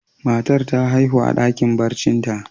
Matan ta haihu a dakin barcin ta.